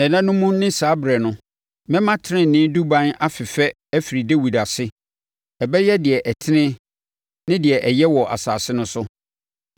“ ‘Nna no mu ne saa ɛberɛ no mɛma tenenee Duban afefɛ afiri Dawid ase; ɔbɛyɛ deɛ ɛtene ne deɛ ɛyɛ wɔ asase no so.